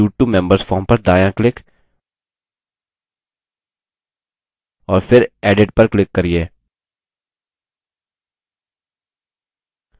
और दायें panel पर books issued to members form पर दायाँ click और फिर edit पर click करिये